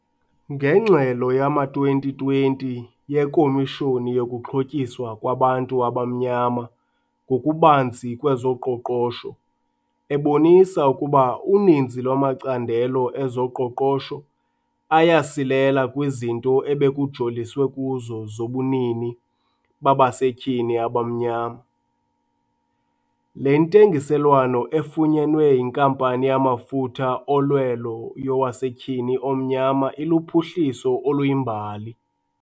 Ngengxelo yowama-2020 yeKomishoni yokuXhotyiswa kwaBantu abaMnyama ngokuBanzi kwezoQoqosho ebonisa ukuba uninzi lwamacandelo ezoqoqosho ayasilela kwizinto ebekujoliswe kuzo zobunini babasetyhini abamnyama, le ntengiselwano efunyenwe yinkampani yamafutha olwelo yowasetyhini omnyama iluphuhliso oluyimbali.